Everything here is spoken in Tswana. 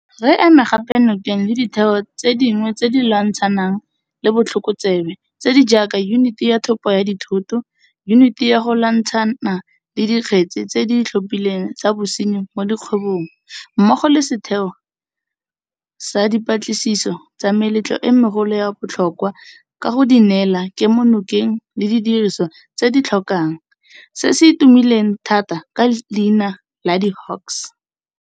Re eme gape nokeng le ditheo tse dingwe tse di lwantshanang le botlhokotsebe tse di jaaka Yuniti ya Thopo ya Dithoto, Yuniti ya go Lwantshana le Dikgetse tse di Itlhophileng tsa Bosenyi mo Dikgwebong mmogo le Setheo sa Dipatlisiso tsa Melato e Megolo ya Botlho kwa ka go di neela kemonokeng le didirisiwa tse di di tlhokang, se se tumileng thata ka leina la di-Hawks.